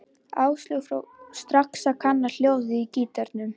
Áslaug fór strax að kanna hljóðið í gítarnum.